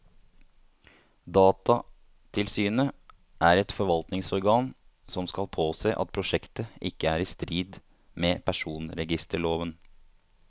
Datatilsynet er et forvaltningsorgan som skal påse at prosjektet ikke er i strid med personregisterloven.